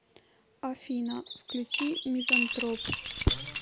афина включи мизантроп